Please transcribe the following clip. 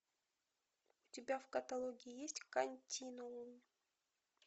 у тебя в каталоге есть континуум